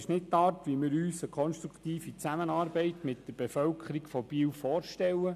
Das ist nicht die Art, wie wir uns eine konstruktive Zusammenarbeit mit der Bevölkerung von Biel vorstellen.